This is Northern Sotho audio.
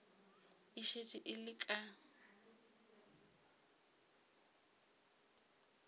e šetše e le ka